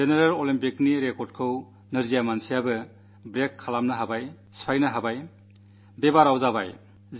പൊതു ഒളിമ്പിക്സിലെ റെക്കാഡുപോലും ദിവ്യാംഗരായവർ ഭേദിച്ചു എന്നത് ആർക്കെങ്കിലും ചിന്തിക്കാനാകുന്ന കാര്യമാണോ